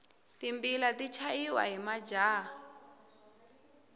timbila ti chaya hi majaha